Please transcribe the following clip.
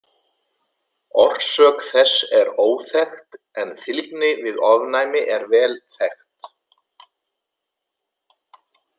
Orsök þess er óþekkt en fylgni við ofnæmi er vel þekkt.